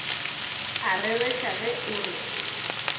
a rereša ge o re